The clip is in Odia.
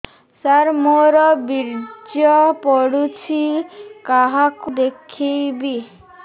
ସାର ମୋର ବୀର୍ଯ୍ୟ ପଢ଼ୁଛି କାହାକୁ ଦେଖେଇବି